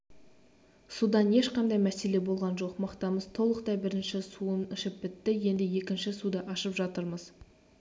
судан ешқандай мәселе болған жоқ мақтамыз толықтай бірінші суын ішіп бітті енді екінші суды ашып жатырмыз